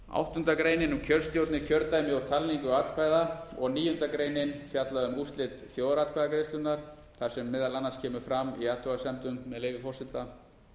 áttunda greinin er um kjörstjórnir kjördæmi og talningu atkvæða og níunda greinin fjallar um úrslit þjóðaratkvæðagreiðslunnar þar sem meðal annars kemur fram í afhugasemdum með leyfi forseta